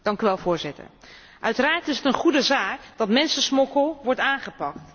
Voorzitter, uiteraard is het een goede zaak dat mensensmokkel wordt aangepakt.